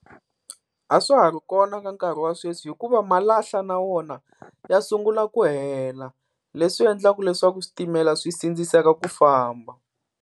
A swa ha ri kona ka nkarhi wa sweswi, hikuva malahla na wona ya sungula ku hela leswi endlaka leswaku switimela swi sindziseka ku famba.